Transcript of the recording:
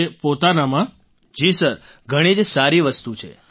Rajesh Prajapati ji sir ઘણી જ સારી વસ્તુ છે